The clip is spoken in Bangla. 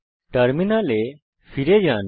টার্মিনালে ফিরে যান